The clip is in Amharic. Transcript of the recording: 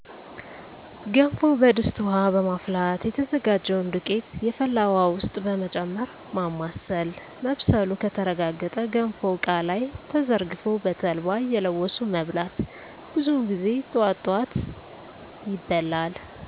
ገንፎ በድስት ውሀ በማፍላት የተዘጋጀውን ዱቄት የፈላ ውሀ ውስጥ በመጨመር ማማሰል መብሰሉ ከተረጋገጠ ገንፎው እቃ ላይ ተዘርግፎ በተልባ እየለወሱ መብላት። ብዙውን ጊዜ ጠዋት ጠዋት ይበላል።